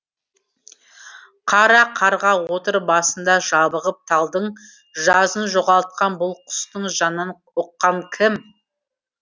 қара қарға отыр басында жабығып талдың жазын жоғалтқан бұл құстың жанын ұққан кім